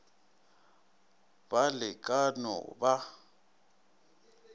ba le ka no ba